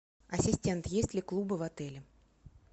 ассистент есть ли клубы в отеле